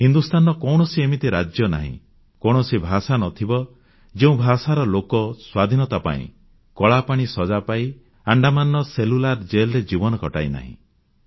ହିନ୍ଦୁସ୍ଥାନର କୌଣସି ଏମିତି ରାଜ୍ୟ ନାହିଁ କୌଣସି ଭାଷା ନ ଥିବ ଯେଉଁ ଭାଷାର ଲୋକ ସ୍ୱାଧୀନତା ପାଇଁ କଳାପାଣି ସଜା ପାଇ ଆଣ୍ଡାମାନର ସେଲ୍ୟୁଲାର ଜେଲ୍ ରେ ଜୀବନ କଟାଇନାହିଁ